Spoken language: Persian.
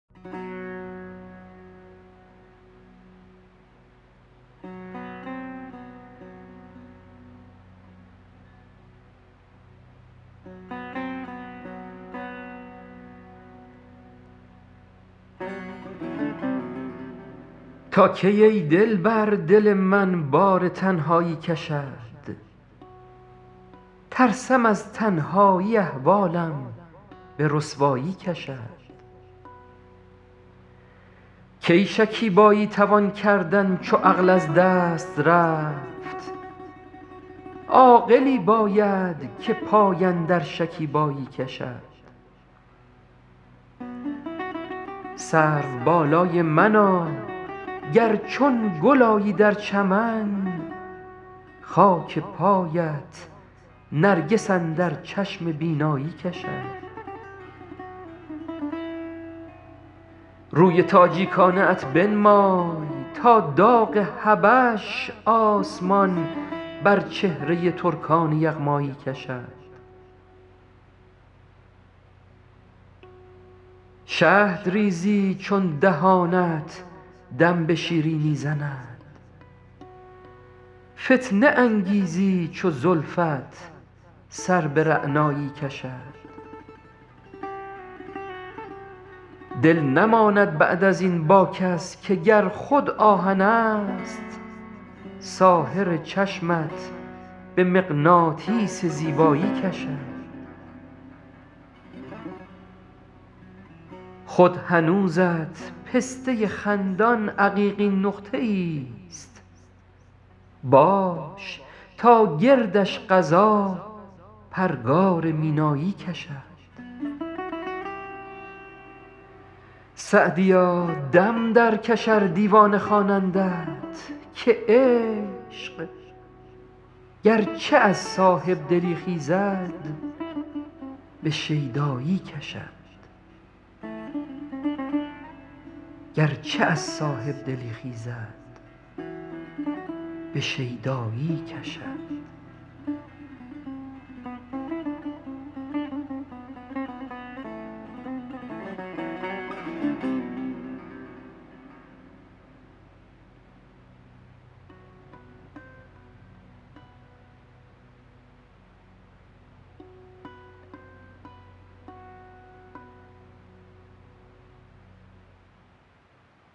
تا کی ای دلبر دل من بار تنهایی کشد ترسم از تنهایی احوالم به رسوایی کشد کی شکیبایی توان کردن چو عقل از دست رفت عاقلی باید که پای اندر شکیبایی کشد سروبالای منا گر چون گل آیی در چمن خاک پایت نرگس اندر چشم بینایی کشد روی تاجیکانه ات بنمای تا داغ حبش آسمان بر چهره ترکان یغمایی کشد شهد ریزی چون دهانت دم به شیرینی زند فتنه انگیزی چو زلفت سر به رعنایی کشد دل نماند بعد از این با کس که گر خود آهنست ساحر چشمت به مغناطیس زیبایی کشد خود هنوزت پسته خندان عقیقین نقطه ایست باش تا گردش قضا پرگار مینایی کشد سعدیا دم درکش ار دیوانه خوانندت که عشق گرچه از صاحب دلی خیزد به شیدایی کشد